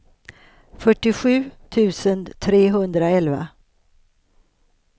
fyrtiosju tusen trehundraelva